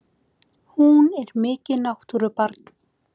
Hún er mikið náttúrubarn!